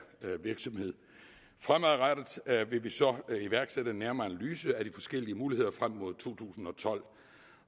virksomhed fremadrettet vil vi så iværksætte en nærmere analyse af de forskellige muligheder frem mod to tusind og tolv